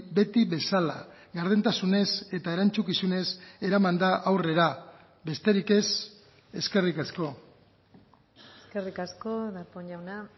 beti bezala gardentasunez eta erantzukizunez eraman da aurrera besterik ez eskerrik asko eskerrik asko darpón jauna